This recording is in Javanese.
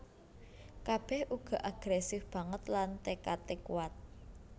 Kabèh uga agrèsif banget lan tékadé kuwat